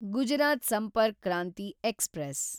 Gujarat Sampark Kranti express